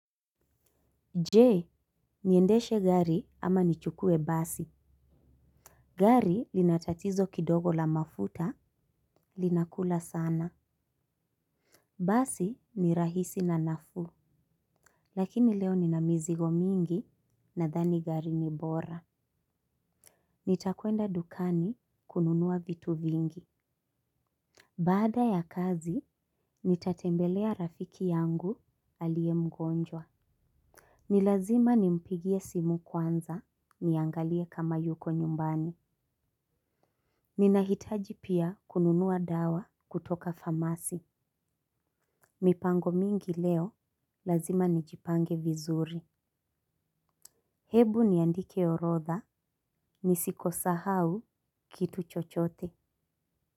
Je, niendeshe gari ama nichukue basi. Gari lina tatizo kidogo la mafuta linakula sana. Basi ni rahisi na nafu. Lakini leo nina mizigo mingi nadhani gari ni bora. Nitakwenda dukani kununua vitu vingi. Baada ya kazi, nitatembelea rafiki yangu aliye mgonjwa. Ni lazima nimpigie simu kwanza niangalie kama yuko nyumbani. Ninahitaji pia kununua dawa kutoka famasi. Mipango mingi leo, lazima nijipange vizuri. Hebu niandike orodha, nisikosahau kitu chochote.